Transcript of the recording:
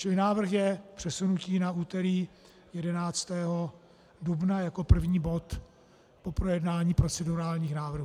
Čili návrh je přesunutí na úterý 11. dubna jako první bod po projednání procedurálních návrhů.